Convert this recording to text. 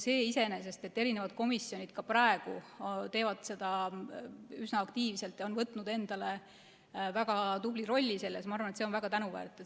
Iseenesest on see, et komisjonid teevad seda ka praegu üsna aktiivselt ja on võtnud endale väga tubli rolli, on minu arvates väga tänuväärt.